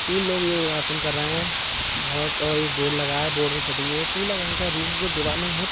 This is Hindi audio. तीन लोग योग आसन कर रहे हैं। बोहोत और एक बोर्ड लगा है। बोर्ड में फिटिंग हुई। पीला रंग का रूम का दीवालें हैं।